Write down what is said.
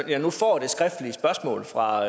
jeg nu får det skriftlige spørgsmål fra